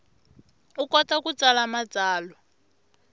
u kota ku tsala matsalwa